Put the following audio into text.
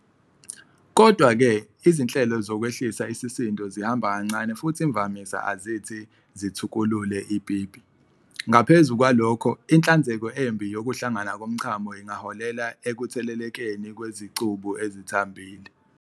Kodwa-ke, izinhlelo zokwehlisa isisindo zihamba kancane futhi imvamisa azithi "zithukulule" ipipi, ngaphezu kwalokho, inhlanzeko embi yokuhlangana komchamo ingaholela ekuthelelekeni kwezicubu ezithambile.